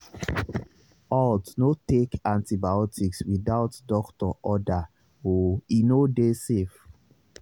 haltno take antibiotics without doctor order oe no dey safe